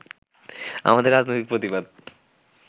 আমাদের রাজনৈতিক প্রতিবাদ